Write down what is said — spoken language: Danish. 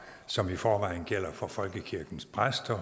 som i forvejen gælder for folkekirkens præster